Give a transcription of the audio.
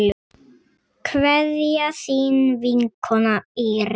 Kveðja, þín vinkona Íris.